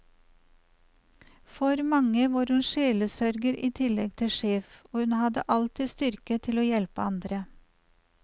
For mange var hun sjelesørger i tillegg til sjef, og hun hadde alltid styrke til å hjelpe andre.